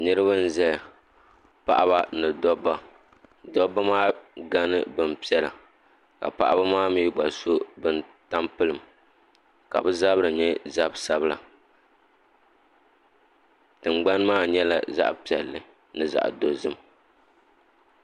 Niriba n zaya paɣaba ni dobba dobba maa gani bin piɛla Paɣaba maa mi gba so bin tampelim ka bi zabiri nyɛ zap dabila tingbani maa nyɛla zaɣa piɛlli ni zaɣa dozim.